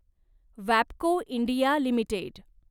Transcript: वॅबको India limited